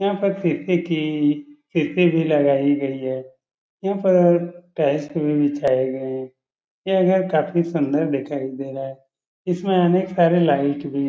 यहाँ पर शीशे की खिड़की भी लगाई गई है। यहाँ पर टाइल्स भी बिछाए गए हैं। यह घर काफी सुंदर दिखाई दे रहा है। इसमें अनेक सारे लाइट भी हैं।